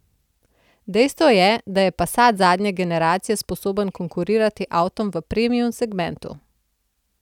Dejstvo je, da je passat zadnje generacije sposoben konkurirati avtom v premium segmentu.